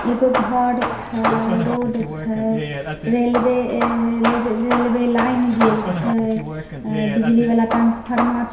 एगो घर छै रोड छै रेलवे अ रेलवे लाइन गेल छै बिजली वला ट्रांसफरमा छै।